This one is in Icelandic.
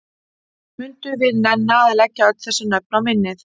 Mundum við nenna að leggja öll þessi nöfn á minnið?